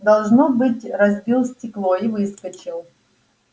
должно быть разбил стекло и выскочил